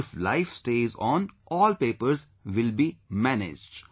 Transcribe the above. If life stays on, all papers will be managed